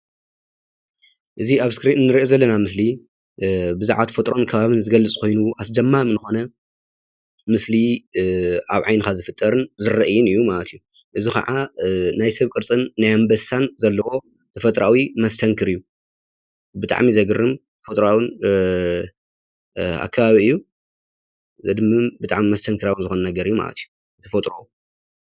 እዚ አብ ስክሪነ ንሪኦ ዘለና ምስሊ ብዛዕባን ተፈጥሮ ከባቢ ዝገልፅ ኮይኑ አስደማሚ ዝኾነ ምስሊ አብ ዓይንካ ዝፍጠርን ዝረኣይን ማለት እዩ፡፡ እዚ ከዓ ናይ ሰብ ቅርፅን ናይ አንበሳ ዘለዎ ተፈጥራዊ መስተክር እዩ፡፡ ብጥዓሚ ዘግርም ተፈጥራዊ አከባቢ እዩ ፡፡